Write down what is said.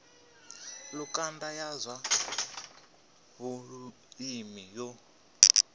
lukanda ya zwa vhulimi yo